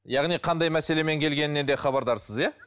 яғни қандай мәселемен келгеніне де хабардарсыз иә